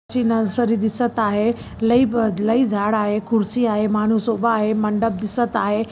जी nursery दिसत आहे लई बद लई झाड़ आहे कुर्सी आहे मानुस उभा आहै मंडप दिसत आहे.